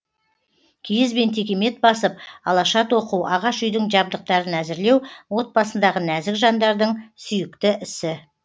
киіз бен текемет басып алаша тоқу ағаш үйдің жабдықтарын әзірлеу отбасындағы нәзік жандардың сүйікті ісі